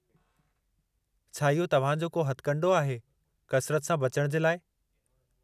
छा इहो तव्हां जो को हथकंडो आहे, कसिरत सां बचण जे लाइ?